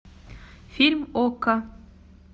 фильм окко